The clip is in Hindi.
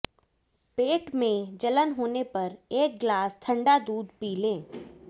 पेट में जलन होने पर एक ग्लास ठंडा दूध पी लें